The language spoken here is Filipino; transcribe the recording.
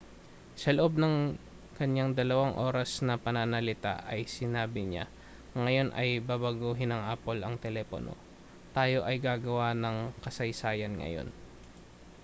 sa loob ng kanyang 2 oras na pananalita ay sinabi niya ngayon ay babaguhin ng apple ang telepono tayo ay gagawa ng kasaysayan ngayon